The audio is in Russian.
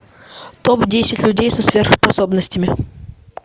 топ десять людей со сверхспособностями